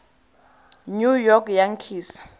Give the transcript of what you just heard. new york yankees